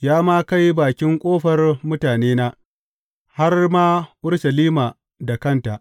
Ya ma kai bakin ƙofar mutanena, har ma Urushalima da kanta.